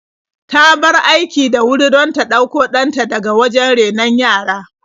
Ta bar aiki da wuri don ta ɗauko ɗan ta daga wajen renon yara.